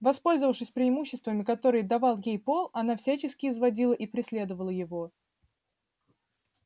воспользовавшись преимуществами которые давал ей пол она всячески изводила и преследовала его